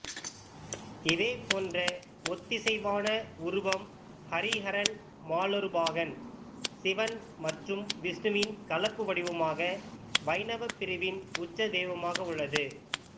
இதேபோன்ற ஒத்திசைவான உருவம் ஹரிஹரன் மாலொருபாகன் சிவன் மற்றும் விஷ்ணுவின் கலப்பு வடிவமாக வைணவ பிரிவின் உச்ச தெய்வமாக உள்ளது